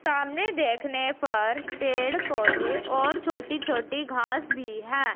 सामने देखने पर पेड़ पौधे और छोटी छोटी घास भी है।